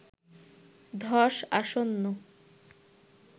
ধস আসন্ন